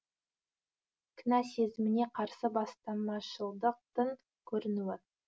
кінә сезіміне қарсы бастамашылдықтың көрінуі